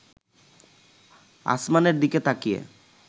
আসমানের দিকে তাকিয়ে